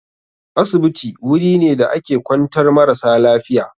Asibiti wuri ne da ake kwantar marasa lafiya.